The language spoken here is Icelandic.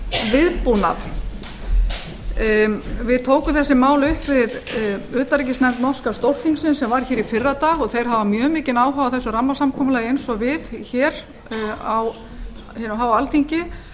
viðbúnað við tókum þessi mál upp við utanríkisnefnd norska stórþingsins sem var hér í fyrradag og þeir hafa mjög mikinn áhuga á þessu rammasamkomulagi eins og við á hinu háa alþingi